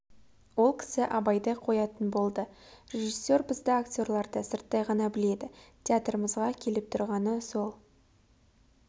ол кісі абайды қоятын болды режиссер бізді актерларды сырттай ғана біледі театрымызға келіп тұрғаны сол